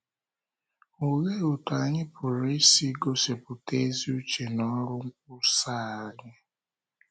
Olee otú anyị pụrụ isi gosipụta ezi uche n’ọrụ nkwusa anyị?